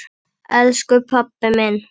Elsku pabbi minn!